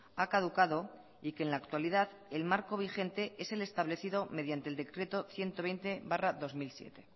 ha caducado y que en la actualidad el marco vigente es el establecido mediante el decreto ciento veinte barra dos mil siete